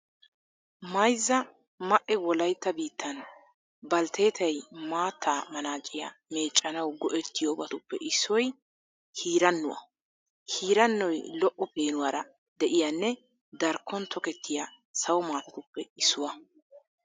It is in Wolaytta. Mayzza ma"e wolaytta biittan baaltteetay maatta manaaciya meeccanawu go"ettiyobatuppe issoy hirannuwa. Hirannoy lo"o peenuwara de'iyanne darkkon tokettiya sawo maatatuppe issuwa.